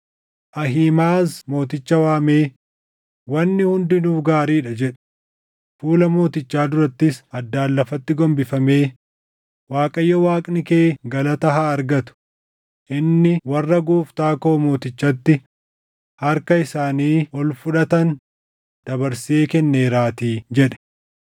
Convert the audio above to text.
Ahiimaʼaz mooticha waamee, “Wanni hundinuu gaarii dha” jedhe; fuula mootichaa durattis addaan lafatti gombifamee, “ Waaqayyo Waaqni kee galata haa argatu; inni warra gooftaa koo mootichatti harka isaanii ol fudhatan dabarsee kenneeraatii” jedhe.